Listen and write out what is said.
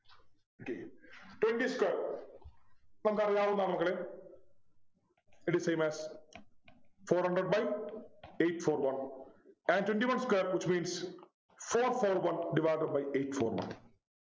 okay twenty square നമുക്കറിയാവുന്നതാ മക്കളെ It is same as four hundred by eight four one and twenty one square Which means four four one divided by eight four one